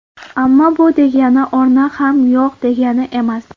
Ammo bu degani o‘rni ham yo‘q degani emas.